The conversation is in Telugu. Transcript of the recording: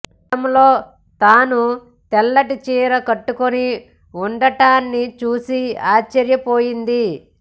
అద్దంలో తను తెల్లటి చీర కట్టుకుని ఉండటాన్ని చూసి ఆశ్చర్యపోయింది